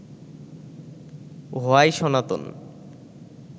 why Sanatan